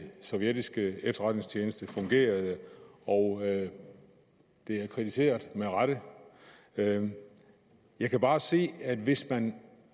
sovjetiske efterretningstjeneste fungerede og det er kritiseret med rette jeg jeg kan bare sige at hvis man